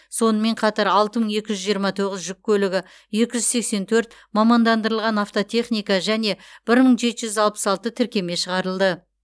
сонымен қатар алты мың екі жүз тоқсан тоғыз жүк көлігі екі жүз сексен төрт мамандандырылған автотехника және бір мың жеті жүз алпыс алты тіркеме шығарылды